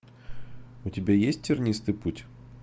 у тебя есть тернистый путь